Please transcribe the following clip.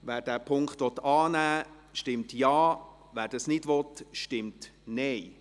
Wer den Punkt 3 annehmen will, stimmt Ja, wer diesen ablehnt, stimmt Nein.